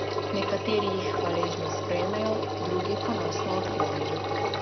Nekateri jih hvaležno sprejmejo, drugi ponosno odklonijo.